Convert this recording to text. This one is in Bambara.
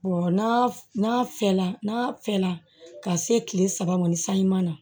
n'a fɛla n'a fɛla ka se kile saba ma ni san ɲuman na